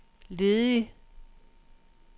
ledig